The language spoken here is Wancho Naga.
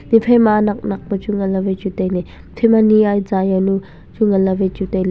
ephai ma nak nak pa wai chu ngan ley wai chu tailey ephai ma ni azah jawnu chu ngan le wai chu tailey.